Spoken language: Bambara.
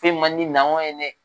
Foyi man di na hɔn ye dɛ!